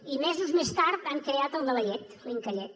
i mesos més tard han creat el de la llet l’incallet